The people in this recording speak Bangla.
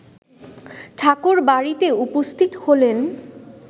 ঠাকুরবাড়িতে উপস্থিত হলেন